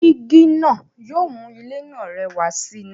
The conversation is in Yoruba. Jígí náà yóò mú ilé náà rẹwà sì ni.